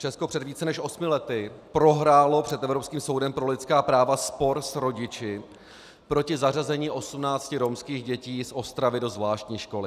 Česko před více než osmi lety prohrálo před Evropským soudem pro lidská práva spor s rodiči proti zařazení osmnácti romských dětí z Ostravy do zvláštní školy.